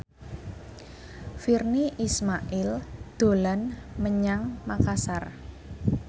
Virnie Ismail dolan menyang Makasar